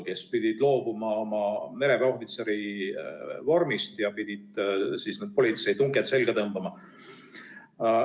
Nad pidid loobuma oma mereväeohvitseri vormist ja politseitunked selga tõmbama.